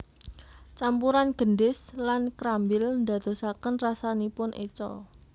Campuran gendis lan krambil ndadosaken rasanipun eca